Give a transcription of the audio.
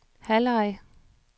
halvleg